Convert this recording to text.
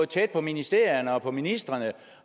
tæt på ministerierne og på ministrene